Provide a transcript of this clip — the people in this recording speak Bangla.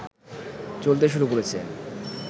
চলতে শুরু করেছে